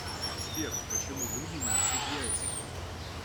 сбер почему люди не несут яица